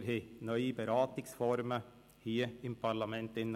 Wir haben neue Beratungsformen hier im Parlament gehabt.